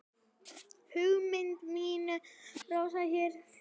Hugur minn róaðist hjá þér.